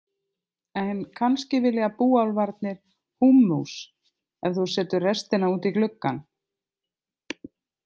En kannski vilja búálfarnir húmmus ef þú setur restina út í gluggann.